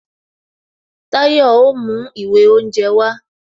Tayo o mú ìwé oúnje wá